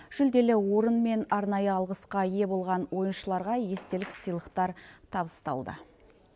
жүлделі орын мен арнайы алғысқа ие болған ойыншыларға естелік сыйлықтар табысталды